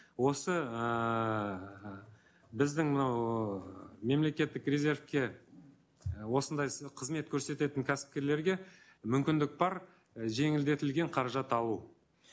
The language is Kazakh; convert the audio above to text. осы ыыы біздің мынау ыыы мемлекеттік резервке осындай қызмет көрсететін кәсіпкерлерге мүмкіндік бар і жеңілдетілген қаражат алу